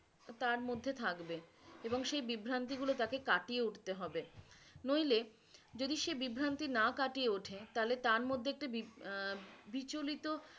তার মধ্যে থাকবে এবং সেই বিভ্রান্তিগুলো তাঁকে কাটিয়ে উঠতে হবে নইলে যদি সে বিভ্রান্তি না কাটিয়ে ওঠে তাহলে তার মধ্যে একটি বি~ আহ বিচলিত